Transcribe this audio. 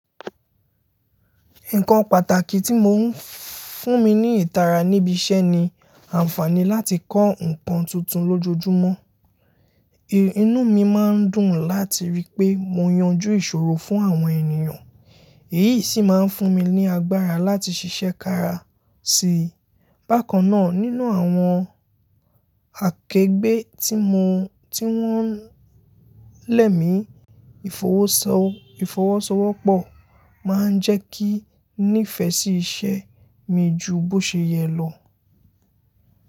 Nǹkan pàtàkì tí mo ń fún mi ní ìtara níbi iṣẹ́ ni àǹfààní láti kọ́ nǹkan tuntun lójoojúmọ́. Inú mi máa ń dùn láti rí pé mo yanjú ìṣòro fún àwọn ènìyàn, èyí sì máa ń fún mi ní agbára láti ṣiṣẹ́ kára sí i. Bákan náà, nínú àwọn akegbe tí wọ́n lẹ̀ mí, ìfọwọ́sowọ́pọ̀ máa ń jẹ́ kí nífẹ̀ẹ́ sí iṣẹ́ mi ju bó ṣe yẹ lọ.